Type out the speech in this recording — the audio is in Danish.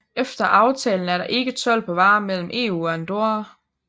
Efter aftalen er det ikke told på varer mellem EU og Andorra